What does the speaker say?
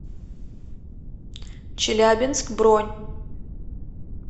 челябинск бронь